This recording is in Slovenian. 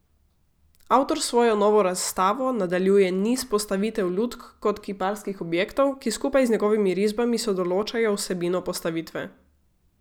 Avtor s svojo novo razstavo nadaljuje niz postavitev lutk kot kiparskih objektov, ki skupaj z njegovimi risbami sodoločajo vsebino postavitve.